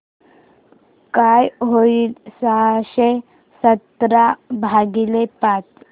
काय होईल सहाशे सतरा भागीले पाच